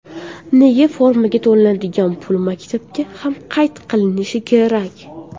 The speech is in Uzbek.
Nega formaga to‘lanadigan pul maktabda ham qayd qilinishi kerak?